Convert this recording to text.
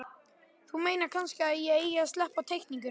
Þú meinar kannski að ég eigi að sleppa teikningunum?